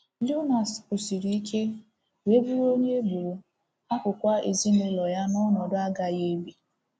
Leonides kwụsiri ike wee bụrụ onye e gburu, hapụkwa ezinụlọ ya n’ọnọdụ agaghị ebi.